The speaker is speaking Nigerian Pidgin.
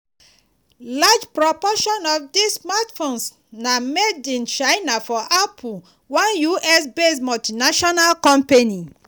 large proportion of dis smartphones na made in china for apple one us-based multinational company.